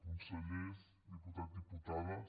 consellers diputats diputades